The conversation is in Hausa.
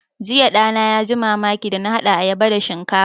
Jiya ɗana ya ji mamaki da na haɗa ayaba da shinkafa